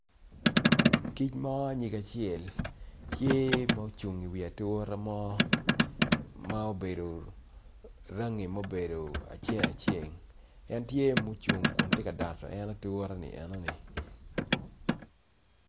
Kic mo nyinge acel tye mucung i wi atura mo ma obedo, rangi mubedo aceng aceng en tye mucung kun tye ka doto en atura-ni eno-ni